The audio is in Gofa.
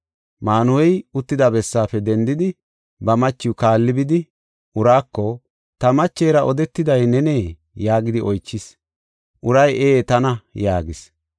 Maanuhey uttida bessaafe dendidi, ba machiw kaalli bidi uraako, “Ta machera odetiday nenee?” yaagidi oychis. Uray, “Ee, tana” yaagis.